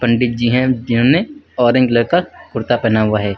पंडित जी हैं जिन्होंने ऑरेंज कलर का कुर्ता पहना हुआ है।